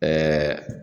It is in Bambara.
Ɛɛ